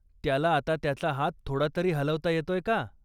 त्याला आता त्याचा हात थोडातरी हलवता येतोय का?